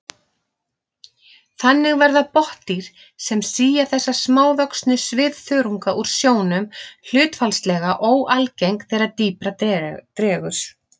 Þannig verða botndýr sem sía þessa smávöxnu svifþörunga úr sjónum hlutfallslega óalgeng þegar dýpra dregur.